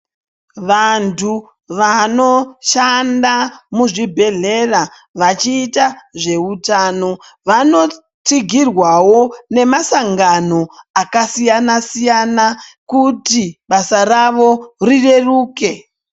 Vanhu vanoshanda muzvibhedhlera vachiita zveutano vanotsigirwawo nemasangano akasiyana siyana kuti basa ravo rireruke.